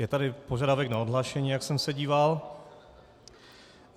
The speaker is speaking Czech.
Je tady požadavek na odhlášení, jak jsem se díval.